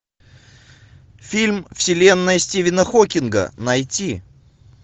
фильм вселенная стивена хокинга найти